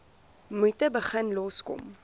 moeite begin loskom